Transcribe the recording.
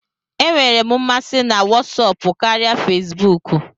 E nwere m masị na Wọsọpu karịa Fezbuuku.